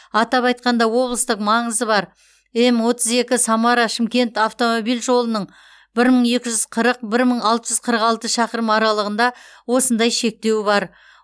атап айтқанда облыстық маңызы бар эм отыз екі самара шымкент автомобиль жолының бір мың екі жүз қырық бір мың алты жүз қырықалты шақырым аралығында осындай шектеу бар